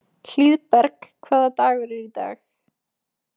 Hlíðberg, hvaða dagur er í dag?